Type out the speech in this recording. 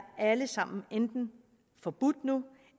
alle sammen enten forbudt nu